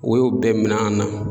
U y'o bɛɛ min'an na